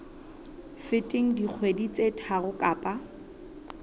feteng dikgwedi tse tharo kapa